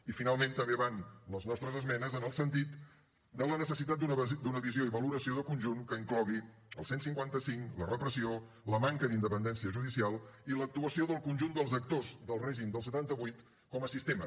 i finalment també van les nostres esmenes en el sentit de la necessitat d’una visió i valoració de conjunt que inclogui el cent i cinquanta cinc la repressió la manca d’independència judicial i l’actuació del conjunt dels actors del règim del setanta vuit com a sistema